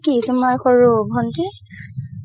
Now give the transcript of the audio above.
কি? তুমাৰ সৰুৰ ভন্তিৰ